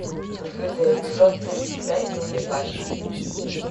открытый эпизод тридцать пять черный плащ